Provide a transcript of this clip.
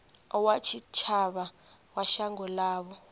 wa tshitshavha wa shango ḽavho